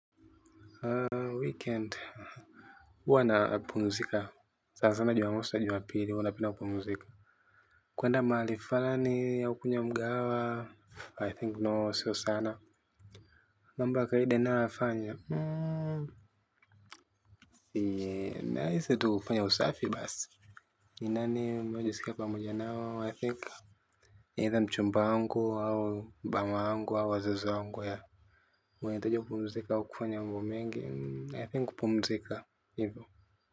Weekend huwa napumzika, sana sana jumamosi juma pili huna napenda kupumzika. Kwenda mahali fulani au kwenye mgahawa I think no siyo sana mambo ya kawaida ninayo yafanya naweza tu kufanya usafi basi ni nani ambao najiskia pamoja nao i think either mchumba wangu au mama yangu au wazazi wangu wanahitaji kupumzika au kufanya mambo mengi nafikiri kupumzika hivyo.